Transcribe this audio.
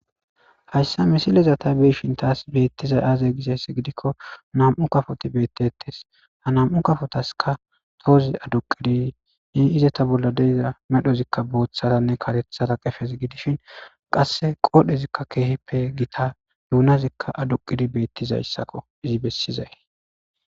hayssa misileza ta be'ishin taas beettizay aaze gishess gidikko nam7u kafoti beettettes ha nam7u kafotaska toozi aduqidi ne izata bolla deyza medhozikka booththaranne katethara qefez gidishin qasse qoodhezikka keehippe gita duunazikka aduqidi beettizayssakko izi bessizay